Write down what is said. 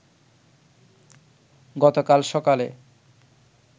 গতকাল সকালে